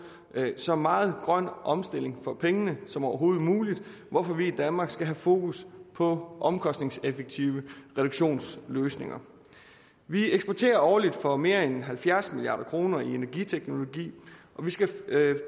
at så meget grøn omstilling for pengene som overhovedet muligt hvorfor vi i danmark skal have fokus på omkostningseffektive reduktionsløsninger vi eksporterer årligt for mere end halvfjerds milliard kroner i energiteknologi og vi skal